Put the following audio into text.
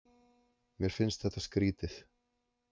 Mér finnst þetta skrýtið.